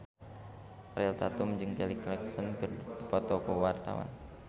Ariel Tatum jeung Kelly Clarkson keur dipoto ku wartawan